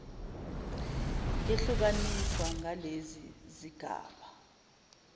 yehlukaniswa ngalezi zigaba